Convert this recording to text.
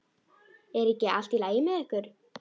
Er ekki allt í lagi með ykkur?